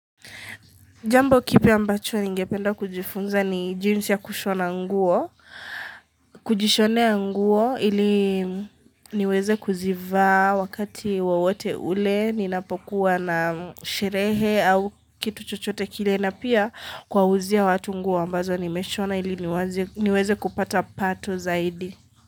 Jambo kipi ambacho ningependa kujifunza ni jinsi ya kushona nguo, kujishonea nguo ili niweze kuzivaa wakati wowote ule, ninapokuwa na sherehe au kitu chochote kile na pia kuwauzia watu nguo ambazo nimeshona ili niweze kupata pato zaidi.